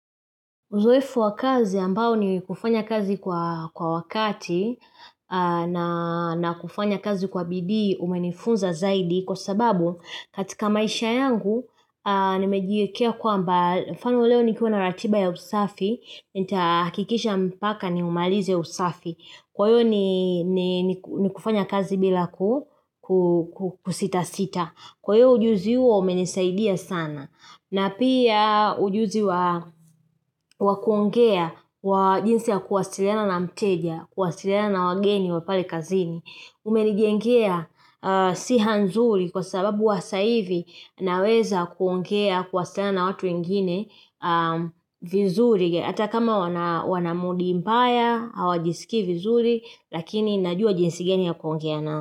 Uzoefu wa kazi ambao ni kufanya kazi kwa wakati na kufanya kazi kwa bidii umenifunza zaidi kwa sababu katika maisha yangu nimejiekea kwamba mfano leo nikiwa na ratiba ya usafi, nitahakikisha mpaka niumalize usafi. Kwayo ni ni kufanya kazi bila kusitasita. Kwayo ujuzi uo umenisaidia sana. Na pia ujuzi wa kuongea wa jinsi ya kuwasiliana na mteja, kuwasiliana na wageni wa pale kazini. Umenijengea siha nzuri kwa sababu hasa ivi naweza kuongea kuwasiliana na watu wengine vizuri. Hata kama wana mudi mbaya, hawajisikii vizuri, lakini najua jinsi gani ya kuongea nao.